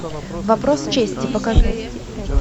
вопрос чести покажи